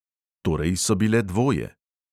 Torej so bile dvoje.